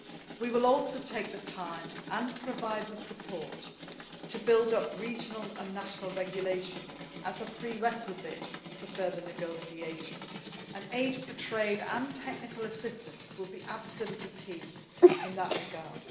We will also take the time and provide the support to build up regional and national regulation as a prerequisite for further negotiation, and aid for trade' and technical assistance will be absolutely key in that regard.